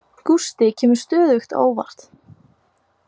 Gústi kemur stöðugt á óvart.